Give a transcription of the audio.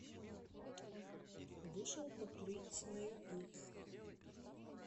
вышел покурить на ютуб